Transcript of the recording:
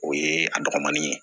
O ye a dɔgɔmanin ye